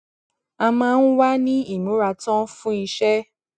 a máa ń wà ní ìmúratán fun iṣẹ